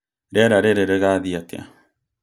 Rĩera rĩrĩ rĩgathiĩ atĩa?